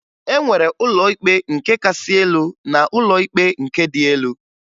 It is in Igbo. E nwere ụlọ ikpe nke kasị elu na ụlọ ikpe nke dị elu